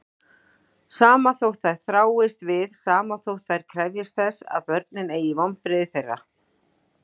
Sama þótt þær þráist við, sama þótt þær krefjist þess að börnin eygi vonbrigði þeirra.